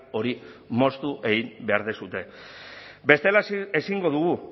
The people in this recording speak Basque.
hori moztu egin behar duzue bestela ezingo dugu